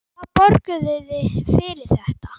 Hvað borguðuð þið fyrir þetta?